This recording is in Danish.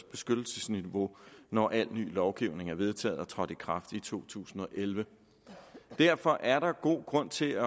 beskyttelsesniveau når al ny lovgivning er vedtaget og trådt i kraft i to tusind og elleve derfor er der god grund til